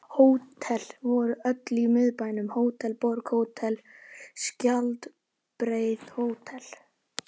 Hótel voru öll í Miðbænum: Hótel Borg, Hótel Skjaldbreið, Hótel